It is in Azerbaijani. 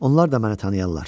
Onlar da məni tanıyarlar.